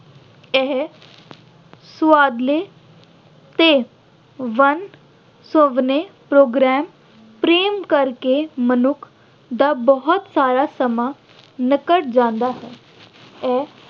ਇਹ ਸੁਆਦਲੇ ਤੇ ਵੰਨ-ਸੁਵੰਨੇ program ਪ੍ਰੇਮ ਕਰਕੇ ਮਨੁੱਖ ਦਾ ਬਹੁਤ ਸਾਰਾ ਸਮਾਂ ਨਿਕਲ ਜਾਂਦਾ ਹੈ। ਇਹ